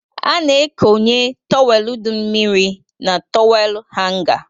A na-ekónyé tọwelu dị mmiri na tọwel hanga